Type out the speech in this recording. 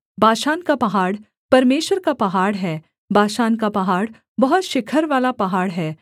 बाशान का पहाड़ परमेश्वर का पहाड़ है बाशान का पहाड़ बहुत शिखरवाला पहाड़ है